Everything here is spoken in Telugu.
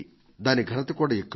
దాని ఘనత కూడా ఎక్కువే